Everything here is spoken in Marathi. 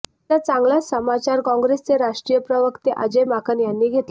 त्याचा चांगलाच समाचार काँग्रेसचे राष्ट्रीय प्रवक्ते अजय माकन यांनी घेतला